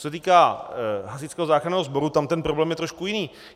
Co se týká Hasičského záchranného sboru, tam ten problém je trošku jiný.